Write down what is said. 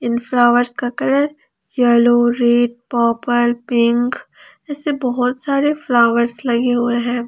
Flowers का colour yellow red purple pink ऐसे बहुत सारे फ्लावर्स लगे हुए हैं।